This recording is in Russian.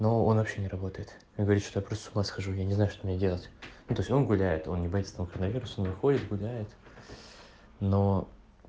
но он вообще не работает говорит что просто с ума схожу я не знаю что мне делать но только он гуляет он не боится там короновируса он выходит гуляет но